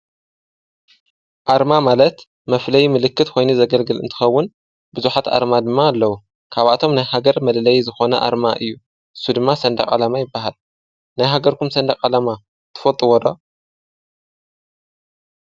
ኣርማ ማለት መፍለይ ምልክት ኮይኑ ካብኣቶም ናይ ሃገር መለለይ ባንዴራ እዩ። ናይ ሃገርኩም ኣርማ ትፈልጥዎ ዶ?